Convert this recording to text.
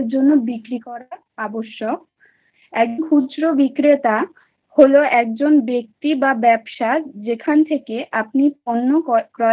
জন্য বিক্রি করা আবশ্যক। এক খুচরো বিক্রেতা হল একজন ব্যক্তি বা ব্যবসা যেখান থেকে আপনি পণ্য ক্রয়